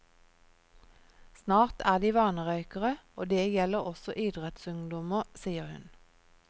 Snart er de vanerøykere, og det gjelder også idrettsungdommer, sier hun.